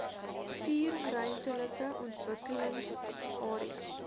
vier ruimtelike ontwikkelingsareas